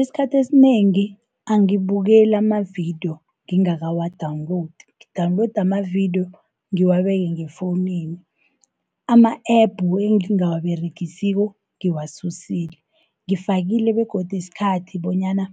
Isikhathi esinengi angibukeli amavidiyo ngingakawa-downloadi, ngi-downloada amavidiyo ngiwabeke ngefounini. Ama-app engingawaberegisiko ngiwasusile, ngifakile begodu isikhathi, bonyana